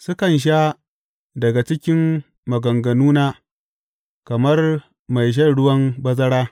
Sukan sha daga cikin maganganuna kamar mai shan ruwan bazara.